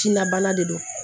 Jinɛ bana de don